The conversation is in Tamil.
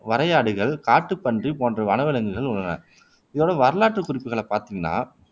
வரையாடுகள் காட்டுப் பன்றி போன்ற வனவிலங்குள் உள்ளன இதோட வரலாற்றுக்குறிப்புகள பார்த்தீங்கண்ணா